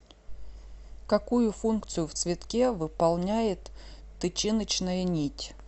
какую функцию в цветке выполняет тычиночная нить